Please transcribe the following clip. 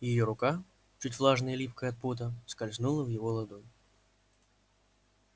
её рука чуть влажная и липкая от пота скользнула в его ладонь